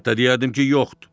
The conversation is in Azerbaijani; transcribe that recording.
Hətta deyərdim ki, yoxdur.